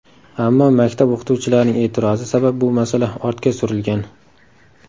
Ammo maktab o‘qituvchilarining e’tirozi sabab bu masala ortga surilgan.